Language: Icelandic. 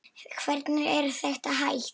Hvernig er þetta hægt?